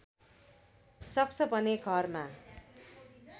सक्छ भने घरमा